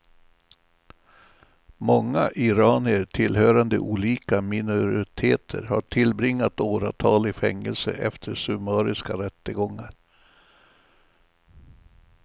Många iranier tillhörande olika minoriteter har tillbringat åratal i fängelse efter summariska rättegångar.